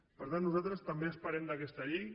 per tant nosaltres també esperem d’aquesta llei